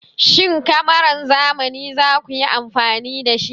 Shin kamaran zamani za ku yi amfani da shi?